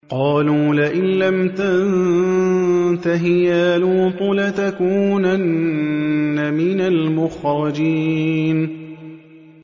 قَالُوا لَئِن لَّمْ تَنتَهِ يَا لُوطُ لَتَكُونَنَّ مِنَ الْمُخْرَجِينَ